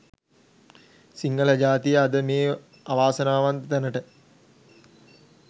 සිංහල ජාතිය අද මේ අවාසනාවන්ත තැනට